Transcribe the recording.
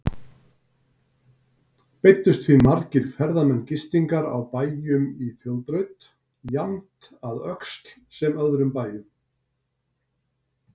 Beiddust því margir ferðamenn gistingar á bæjum í þjóðbraut, jafnt að Öxl sem öðrum bæjum.